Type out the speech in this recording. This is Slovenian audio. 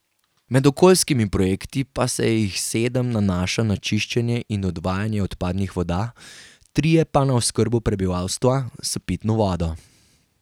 Med okoljskimi projekti pa se jih sedem nanaša na čiščenje in odvajanje odpadnih voda, trije pa na oskrbo prebivalstva s pitno vodo.